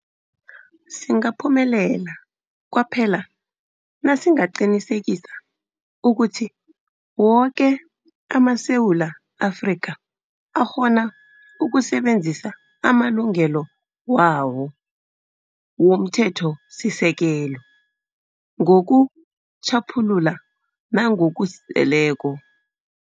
Singaphumelela kwaphela nasingaqinisekisa ukuthi woke amaSewula Afrika akghona ukusebenzisa amalungelo wawo womThetho sisekelo ngokutjhaphuluka nangokuzeleko.